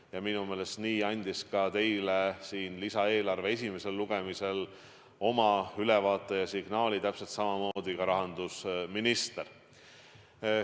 Ja minu meelest andis selle signaali teile lisaeelarve eelnõu esimesel lugemisel ülevaadet andes ka rahandusminister.